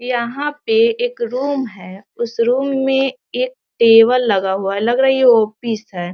यहाँ पे एक रूम है | उस रूम में एक टेबल लगा हुआ है | लग रहा है ये ऑफिस है |